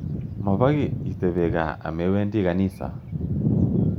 Mapoki itepe kaa amewendi kanisa.